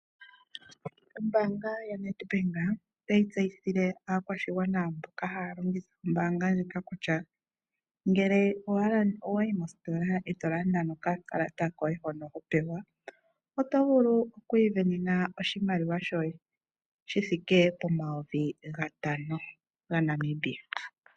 Ombanga ya Nedbank otayi tseyithile akwashingwana mboka holongitha ombanga ndjika kutya ngele owayi mositola oto landa nokakalata koye hono hopewa otovulu okwivenena oshimaliwa shoye shithike pomayovi ngatano nga Namibia.